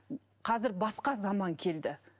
қазір басқа заман келді